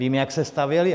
Vím, jak se stavěly.